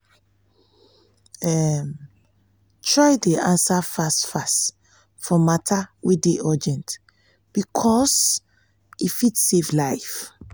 um try dey ansa fast fast for mata wey dey urgent bikos e fit save life